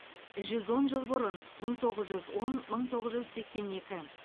жүз он жыл бұрын мың тоғыз жүз он мың тоғыз жүз сексен екі